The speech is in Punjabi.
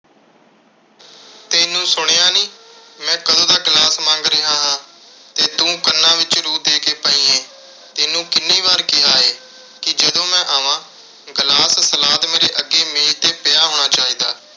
ਤੈਨੂੰ ਸੁਣਿਆ ਨੀਂ। ਮੈਂ ਕਦੋਂ ਦਾ glass ਮੰਗ ਰਿਹਾ ਹਾਂ, ਤੇ ਤੂੰ ਕੰਨਾਂ ਵਿੱਚ ਰੂੰ ਦੇ ਕੇ ਪਈ ਏਂ। ਤੈਨੂੰ ਕਿੰਨੀ ਵਾਰ ਕਿਹਾ ਏ, ਕਿ ਜਦੋਂ ਮੈਂ ਆਵਾਂ, glass, salad ਮੇਰੇ ਅੱਗੇ ਮੇਜ਼ 'ਤੇ ਪਿਆ ਹੋਣਾ ਚਾਹੀਦਾ।